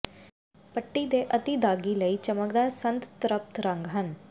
ਪੱਟੀ ਦੇ ਅਤਿ ਦਾਗੀ ਲਈ ਚਮਕਦਾਰ ਸੰਦਤ੍ਰਪਤ ਰੰਗ ਹਨ